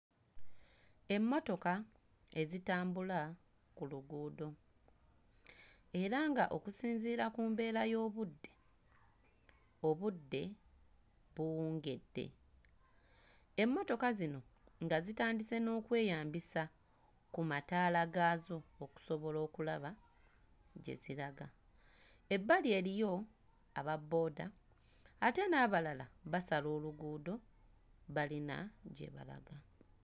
Emmotoka ezitambula ku luguudo era nga okusinziira ku mbeera y'obudde, obudde buwungedde, emmotoka zino nga zitandise n'okweyambisa ku mataala gaazo okusobola okulaba gye ziraga, ebbali eriyo ababooda ate n'abalala basala oluguudo balina gye balaga.